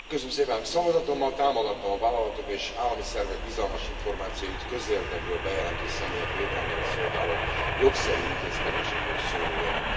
Szavazatommal támogattam a vállalatok és állami szervek bizalmas információit közérdekből bejelentő személyek védelmére szolgáló jogszerű intézkedésekről szóló jelentést.